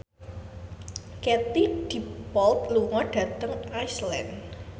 Katie Dippold lunga dhateng Iceland